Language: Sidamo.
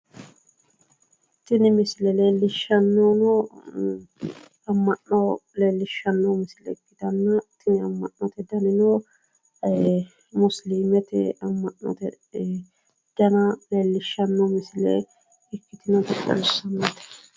Tini misile leellishannohu amma'no leellishshanno misileeti tini amma'note danino isiliminnu amma'no dana ikkitinota xawissanno misileeti yaate.